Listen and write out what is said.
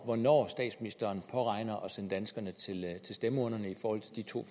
hvornår statsminsteren påregner at sende danskerne til stemmeurnerne i forhold til de to